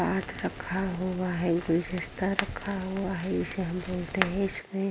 pot रखा हुआ है गुलदस्ता रखा हुआ है इसे हम बोलते हैं --